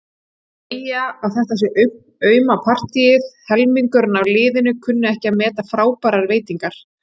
Segja að þetta sé auma partíið, helmingurinn af liðinu kunni ekki að meta frábærar veitingar.